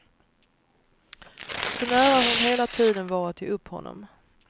Så nära hon hela tiden var att ge upp honom.